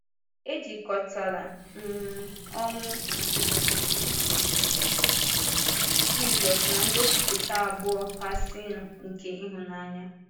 E jikọtara um ọnwụ Jízọs na ngosịpụta abụọ kasịnụ nke ịhụnanya.